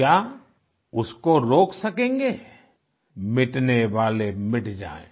क्या उसको रोक सकेंगे मिटनेवाले मिट जाएं